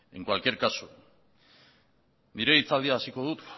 nire hitzaldia hasiko dut